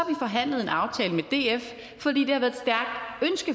forhandlet en aftale med df